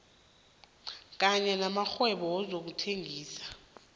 kanye namakghwebo wezokuthengisa